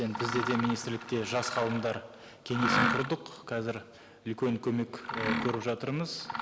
енді бізде де министрлікте жас ғалымдар кеңесін құрдық қазір үлкен көмек і көріп жатырмыз